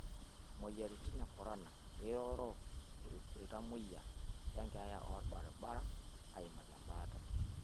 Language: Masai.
Imweyiaritin ekorona eiroro ilntamweyie le nkeeya orbaribara aimaki embaata